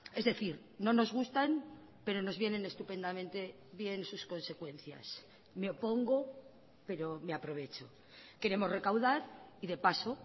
es decir no nos gustan pero nos vienen estupendamente bien sus consecuencias me opongo pero me aprovecho queremos recaudar y de paso